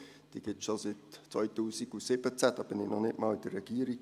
Diese gibt es schon seit 2017, da war ich noch nicht einmal in der Regierung.